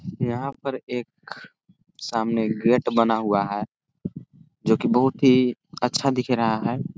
यहाँ पर एक सामने गेट बना हुआ है जो की बहुत ही अच्छा दिख रहा है।